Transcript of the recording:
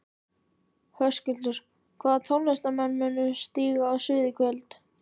Höskuldur: Hvaða tónlistarmenn munu stíga á svið í kvöld?